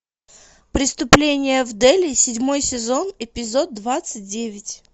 преступление в дели седьмой сезон эпизод двадцать девять